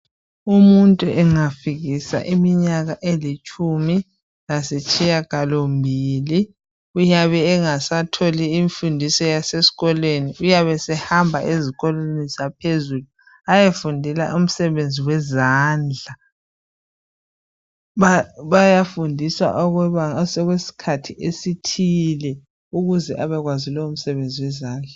Umuntu engafikisa iminyaka elitshumi lasitshiyagalombili uyabe engasatholi imfundiso yasesikolweni uyabe esehamba ezikolweni zangaphezulu aye fundela umsebenzi yezandla. Bayafundisa kwesinye isikhathi imsebenzeni etshiyeneyo ukuze abekwazi lomsebenzi.